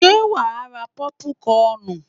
Ṣo ma ra pọ́púkọnù?